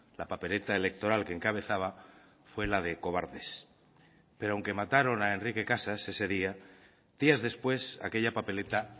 la papeleta electoral que encabezaba fue la de cobardes pero aunque mataron a enrique casas ese día días después aquella papeleta